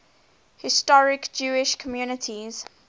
historic jewish communities